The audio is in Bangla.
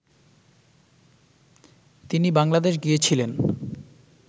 তিনি বাংলাদেশ গিয়েছিলেন